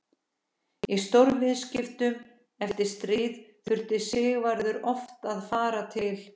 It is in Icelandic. Í stórviðskiptum eftir stríð þurfti Sigvarður oft að fara til